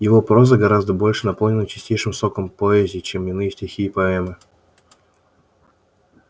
его проза гораздо больше наполнена чистейшим соком поэзии чем иные стихи и поэмы